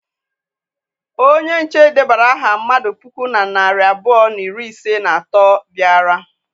Onye nche dedara aha mmadụ puku na narị abụọ na iri isii na atọ bịara.